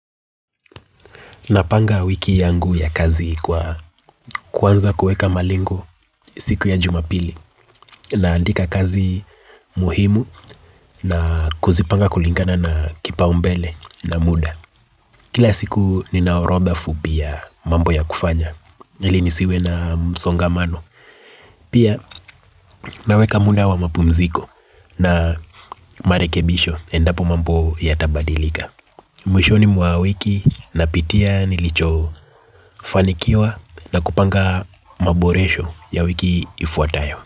Napanga wiki yangu ya kazi kwa kwanza kuweka malengo siku ya jumapili. Naandika kazi muhimu na kuzipanga kulingana na kipaumbele na muda. Kila siku nina orodha fupi ya mambo ya kufanya ili nisiwe na msongamano. Pia naweka muda wa mapumziko na marekebisho endapo mambo yatabadilika. Mwishoni mwa wiki napitia nilichofanikiwa na kupanga maboresho ya wiki ifuatayo.